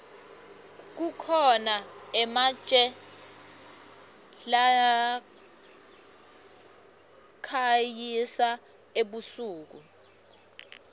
kukhona ematje lakhanyisa ebusuku